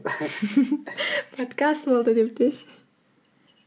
подкаст болды деп деші